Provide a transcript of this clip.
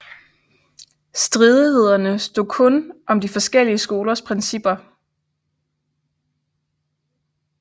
Stridighederne stod kun om de forskellige skolers principper